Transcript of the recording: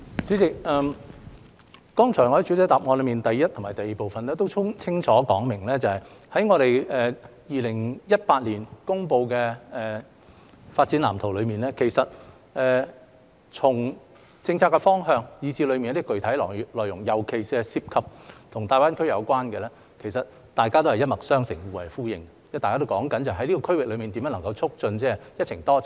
主席，我剛才在主體答覆第一及第二部分也清楚說明，在2017年公布的《發展藍圖》中，從政策方向以至當中一些具體內容，尤其是與大灣區有關的，其實大家也是一脈相承、互為呼應，因為大家也是講述在這個區域內，如何促進"一程多站"。